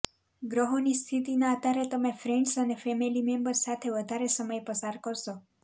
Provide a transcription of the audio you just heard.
ગ્રહોની સ્થિતિના આધારે તમે ફ્રેન્ડ્સ અને ફેમિલી મેમ્બર્સ સાથે વધારે સમય પસાર કરશો